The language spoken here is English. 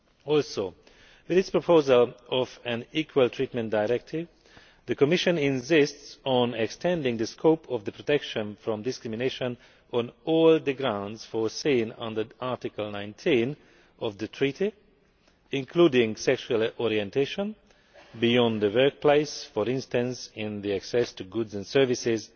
Also, with its proposal of an Equal Treatment Directive, the Commission is insisting on extending the scope of protection from discrimination on all the grounds foreseen under Article 19 of the Treaty, including sexual orientation, beyond the workplace for instance, to include access to goods and services,